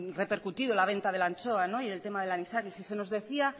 repercutido la venta de la anchoa y el tema del anisakis y se nos decía